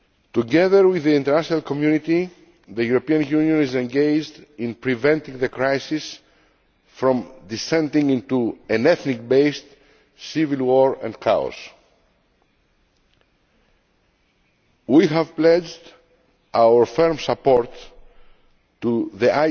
Together with the international community, the European Union is engaged in preventing the crisis from descending into an ethnically based civil war and chaos. We have pledged our firm support to the